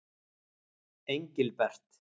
Engilbert